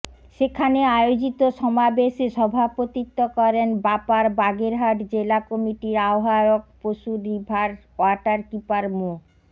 সেখানে আয়োজিত সমাবেশে সভাপতিত্ব করেন বাপার বাগেরহাট জেলা কমিটির আহ্বায়ক পশুর রিভার ওয়াটারকিপার মো